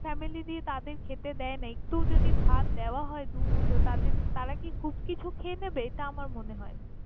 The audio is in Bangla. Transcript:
অনেক family তাদের খেতে দেয় না একটুও যদি ভাত দেওয়া হয় দুমুঠো তাদের, তারা কি খুব কিছু খেয়ে নেবে? এটা আমার মনে হয় না।